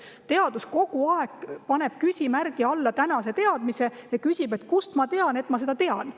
Teaduses pannakse tänane teadmine kogu aeg küsimärgi alla ja küsitakse, kust ma tean, et ma seda tean.